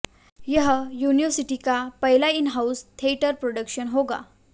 यह यूनिवर्सिटी का पहला इन हाउस थिएटर प्रोडक्शन होगा